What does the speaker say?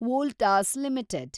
Voltas limited